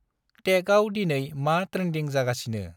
टेकआव दिनै मा ट्रेन्दिं जागासिनो?